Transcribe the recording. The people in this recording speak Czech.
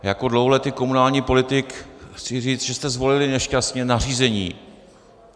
Jako dlouholetý komunální politik chci říct, že jsme zvolili nešťastně nařízení.